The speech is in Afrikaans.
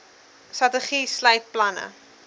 strategie sluit planne